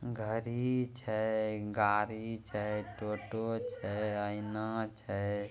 घरी छै गाड़ी छै टोटो छै आईना छै।